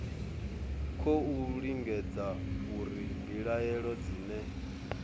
khou lingedza uri mbilaelo dzine